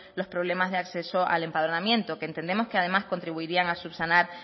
los problemas de acceso al empadronamiento que entendemos que además contribuiría a subsanar